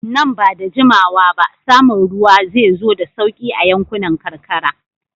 Nan ba da jimawa ba, samun ruwa zai zo da sauƙi a yankunan karkara.